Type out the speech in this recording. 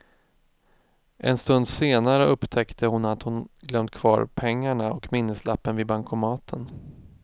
En stund senare upptäckte hon att hon glömt kvar pengarna och minneslappen vid bankomaten.